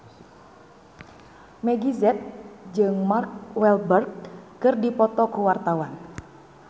Meggie Z jeung Mark Walberg keur dipoto ku wartawan